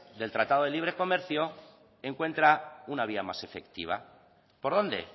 del tratado de libre comercio encuentra una vía más efectiva por dónde